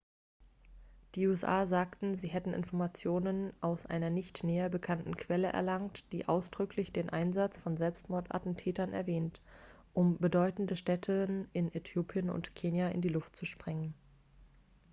"die usa sagen sie hätten informationen aus einer nicht näher benannten quelle erlangt die ausdrücklich den einsatz von selbstmordattentätern erwähnt um "bedeutende stätten" in äthiopien und kenia in die luft zu sprengen.